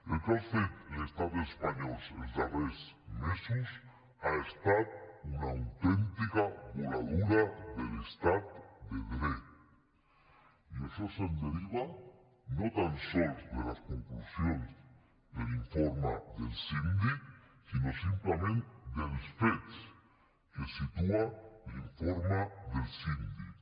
el que ha fet l’estat espanyol els darrers mesos ha estat una autèntica voladura de l’estat de dret i això es deriva no tan sols de les conclusions de l’informe del síndic sinó simplement dels fets que situa l’informe del síndic